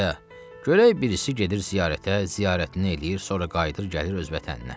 A, görək birisi gedir ziyarətə, ziyarətini eləyir, sonra qayıdır, gəlir öz vətəninə.